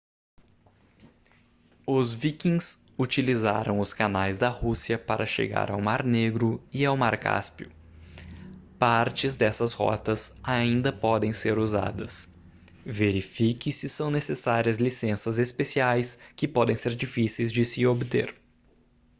os vikings utilizaram os canais da rússia para chegar ao mar negro e ao mar cáspio partes dessas rotas ainda podem ser usadas verifique se são necessárias licenças especiais que podem ser difíceis de se obter